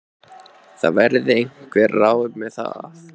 Það verði einhver ráð með það.